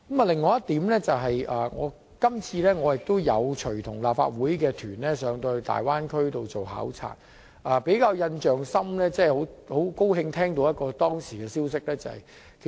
第三點，我今次亦有隨同立法會考察團前往大灣區考察，其中很高興聽到一則好消息。